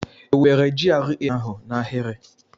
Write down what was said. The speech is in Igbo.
Ewubere GRA ahụ n'ahịrị?